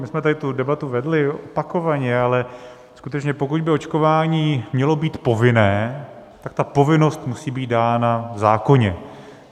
My jsme tady tu debatu vedli opakovaně, ale skutečně, pokud by očkování mělo být povinné, tak ta povinnost musí být dána v zákoně.